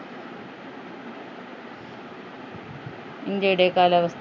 ഇന്ത്യയുടെ കാലാവസ്ഥ